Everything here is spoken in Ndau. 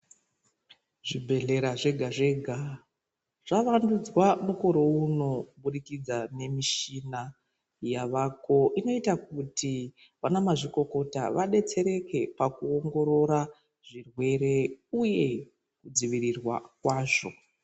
Zvi bhedhlera zvega zvega zva wandudzwa mukore uno kubudikidza ne mishina yavako inoita kuti vana mazvikokota vadetsereke paku ongorora zvirwere uye ku dzivirirwa kwazvo.